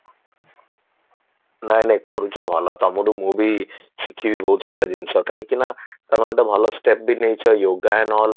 ନାଇଁ ନାଇଁ କରୁଚ ଭଲ ତମଠୁ ମୁଁ ବି ଶିଖିବି ବହୁତ ସାରା ଜିନିଷ କାହିଁକି ନାଁ ତମେ ଗୋଟେ ଭଲ step ବି ନେଇଚ yoga ନ